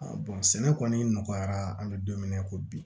sɛnɛ kɔni nɔgɔyara an bɛ don min na i ko bi